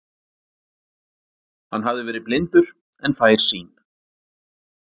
Hann hafði verið blindur en fær sýn.